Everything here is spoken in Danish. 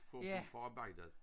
For at få forarbejdet